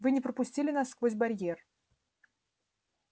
вы не пропустили нас сквозь барьер